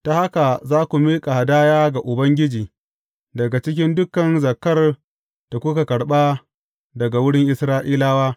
Ta haka za ku miƙa hadaya ga Ubangiji daga cikin dukan zakkar da kuka karɓa daga wurin Isra’ilawa.